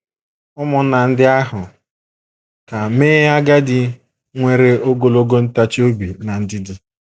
Ụmụnna ndị ahụ ka mee agadi nwere ogologo ntachi obi na ndidi.